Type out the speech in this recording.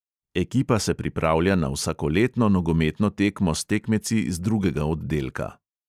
Ekipa se pripravlja na vsakoletno nogometno tekmo s tekmeci z drugega oddelka.